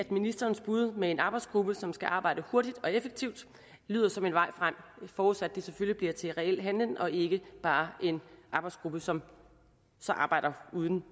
ministerens bud med en arbejdsgruppe som skal arbejde hurtigt og effektivt lyder som en vej frem forudsat det selvfølgelig bliver til reel handling og ikke bare en arbejdsgruppe som så arbejder uden